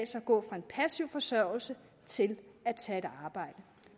sig at gå fra en passiv forsørgelse til at tage et arbejde